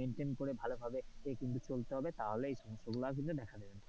maintain করে ভালোভাবে কিন্তু চলতে হবে তাহলেই কিন্তু দেখা দেবে না,